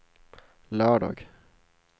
lördag